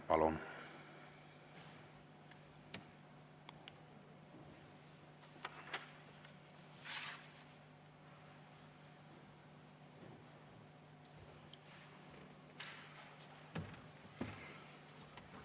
Palun!